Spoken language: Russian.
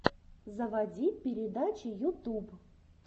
заводи передачи ютуб